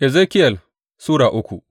Ezekiyel Sura uku